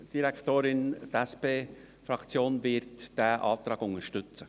Die SP-Fraktion wird diesen Antrag unterstützen.